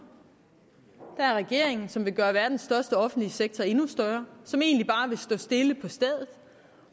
ad der er regeringen som vil gøre verdens største offentlige sektor endnu større som egentlig bare vil stå stille på stedet